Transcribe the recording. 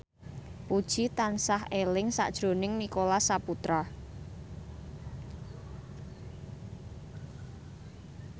Puji tansah eling sakjroning Nicholas Saputra